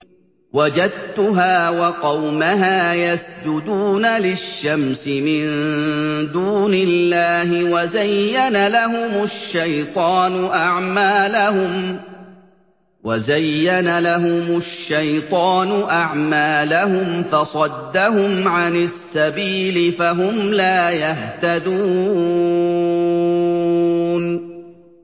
وَجَدتُّهَا وَقَوْمَهَا يَسْجُدُونَ لِلشَّمْسِ مِن دُونِ اللَّهِ وَزَيَّنَ لَهُمُ الشَّيْطَانُ أَعْمَالَهُمْ فَصَدَّهُمْ عَنِ السَّبِيلِ فَهُمْ لَا يَهْتَدُونَ